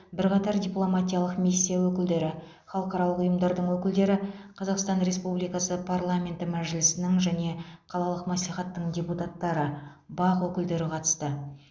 бірқатар дипломатиялық миссия өкілдері халықаралық ұйымдардың өкілдері қазақстан республикасы парламенті мәжілісінің және қалалық мәслихаттың депутаттары бақ өкілдері қатысты